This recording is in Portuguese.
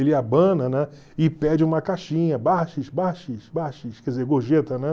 Ele abana, né, e pede uma caixinha, quer dizer, gorjeta, né?